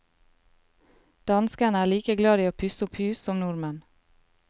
Danskene er like glad i å pusse opp hus som nordmenn.